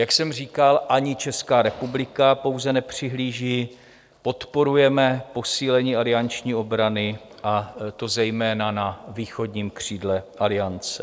Jak jsem říkal, ani Česká republika pouze nepřihlíží, podporujeme posílení alianční obrany, a to zejména na východním křídle Aliance.